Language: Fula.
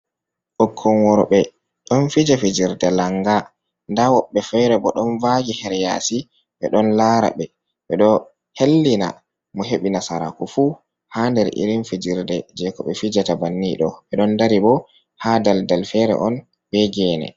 Bikkon worɓe don fija fijerde langa, nda wobbe fere bo don vaji heryasi be don lara ɓe ɓe ɗo hellina mo hebi nasaraku fu ha der irin fijerde je ko ɓe fijata bannido ɓe don dari bo ha daldal fere on be gene.